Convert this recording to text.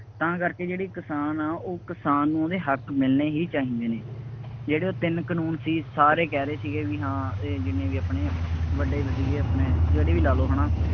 ਤਾਂ ਕਰਕੇ ਜਿਹੜੇ ਕਿਸਾਨ ਆ, ਉਹ ਕਿਸਾਨ ਨੂੰ ਉਹਦੇ ਹੱਕ ਮਿਲਣੇ ਹੀ ਚਾਹੀਦੇ ਨੇ, ਜਿਹੜੇ ਉਹ ਤਿੰਨ ਕਾਨੂੰਨ ਸੀ, ਸਾਰੇ ਕਹਿ ਰਹੇ ਸੀਗੇ ਬਈ ਹਾਂ ਇਹ ਜਿੰਨੇ ਵੀ ਆਪਣੇ ਵੱਡੇ ਵਜ਼ੀਰ ਆਪਣੇ ਜਿਹੜੇ ਵੀ ਲਾ ਲਉ ਹੁਣ